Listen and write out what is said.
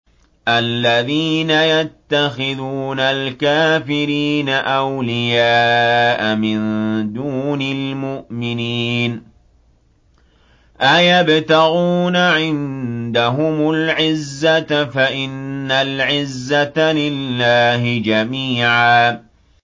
الَّذِينَ يَتَّخِذُونَ الْكَافِرِينَ أَوْلِيَاءَ مِن دُونِ الْمُؤْمِنِينَ ۚ أَيَبْتَغُونَ عِندَهُمُ الْعِزَّةَ فَإِنَّ الْعِزَّةَ لِلَّهِ جَمِيعًا